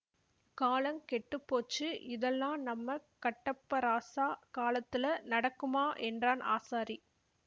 காலங் கெட்டு போச்சு இதெல்லாம் நம்ம கட்டப்ப ராசா காலத்துலெ நடக்குமா என்றான் ஆசாரி